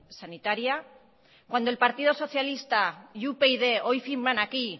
sanitaria cuando el partido socialista y upyd hoy firman aquí